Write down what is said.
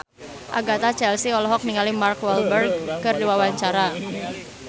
Agatha Chelsea olohok ningali Mark Walberg keur diwawancara